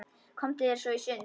Komdu þér svo í sund.